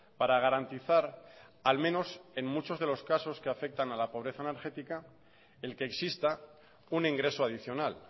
para garantizar al menos en muchos de los casos que afecta a la pobreza energética el que exista un ingreso adicional